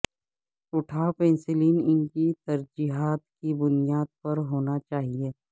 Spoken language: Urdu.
اٹھاو پنسلیں ان کی ترجیحات کی بنیاد پر ہونا چاہئے